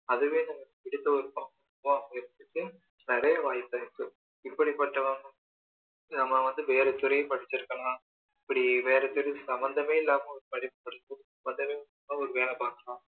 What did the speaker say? அதுவே நமக்கு பிடிச்ச பாடமா அமையுறதுக்கு நிறைய வாய்ப்பு இருக்கு இப்படி பட்ட நம்ம வந்து வேற துறைய படிச்சு இருக்கலாம் இப்படி வேற துறை சம்மந்தமே இல்லாம ஒரு படிப்ப படிச்சி சம்மந்தமே இல்லாம ஒரு வேலை பார்க்கலாம்